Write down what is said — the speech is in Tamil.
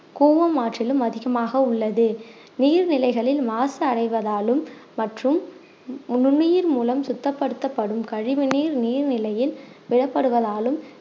கூவம் ஆற்றிலும் அதிகமாக உள்ளது நீர்நிலைகளில் மாசடைவதாலும் மற்றும் நுண்ணுயிர் மூலம் சுத்தப்படுத்தப்படும் கழிவுநீர் நீர் நிலையில் விடப்படுவதாலும்